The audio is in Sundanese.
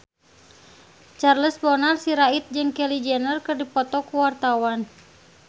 Charles Bonar Sirait jeung Kylie Jenner keur dipoto ku wartawan